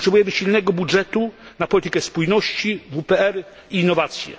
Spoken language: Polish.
Potrzebujemy silnego budżety na politykę spójności, WPR i innowację.